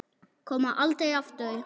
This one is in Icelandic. Koma aldrei aftur.